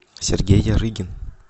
сергей ярыгин